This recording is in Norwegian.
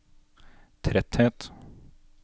tretthet